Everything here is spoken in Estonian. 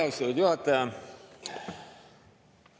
Aitäh, austatud juhataja!